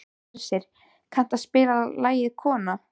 Hersir, kanntu að spila lagið „Kona“?